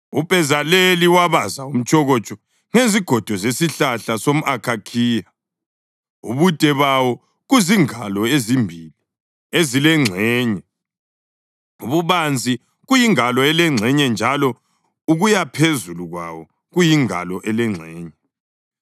UBhezaleli wabaza umtshokotsho ngezigodo zesihlahla somʼakhakhiya ubude bawo kuzingalo ezimbili ezilengxenye, ububanzi kuyingalo elengxenye njalo ukuyaphezulu kwawo kuyingalo elengxenye.